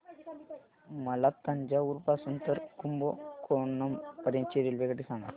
मला तंजावुर पासून तर कुंभकोणम पर्यंत ची रेल्वेगाडी सांगा